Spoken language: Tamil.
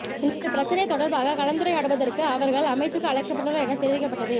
இந்தப் பிரச்சினை தொடர்பாகக் கலந்துரையாடுவதற்கு அவர்கள் அமைச்சுக்கு அழைக்கப்பட்டுள்ளனர் எனத் தெரிவிக்கப்பட்டது